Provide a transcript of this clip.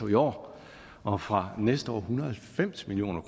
i år og fra næste år en hundrede og halvfems million